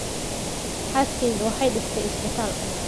Xaaskeyga waxay dhistay isbitaal